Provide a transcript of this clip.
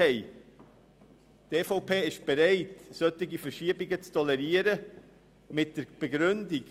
Die EVP ist bereit, solche Verschiebungen zu tolerieren, und tut dies mit folgender Begründung: